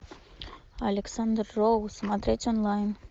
александр роу смотреть онлайн